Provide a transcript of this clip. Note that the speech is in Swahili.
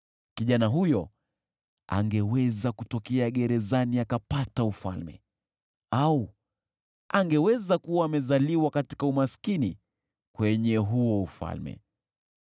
Kijana huyo angeweza kutokea gerezani akapata ufalme, au angeweza kuwa amezaliwa katika umaskini kwenye huo ufalme.